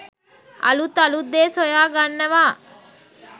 අලුත් අලුත් දේ සොයාගන්නවා